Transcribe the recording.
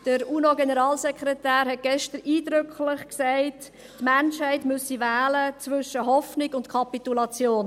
Der UNO-Generalsekretär hat gestern eindrücklich gesagt, die Menschheit müsse wählen zwischen Hoffnung und Kapitulation.